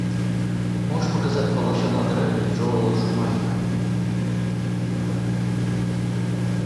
можешь показать малыша на драйве джоэла шумахера